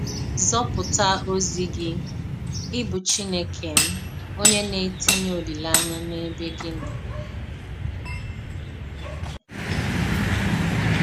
Zọ̣pụ̀tà òzì gị—ị bụ Chínèkè m—onyé na-ètìnyè olílèányà n’ebe gị nọ.